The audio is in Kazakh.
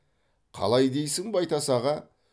қалай дейсің байтас аға